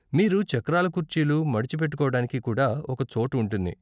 మీరు చక్రాల కుర్చీలు మడిచి పెట్టుకోడానికి కూడా ఒక చోటు ఉంటుంది.